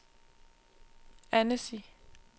Annecy